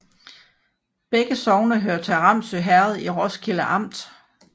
Begge sogne hørte til Ramsø Herred i Roskilde Amt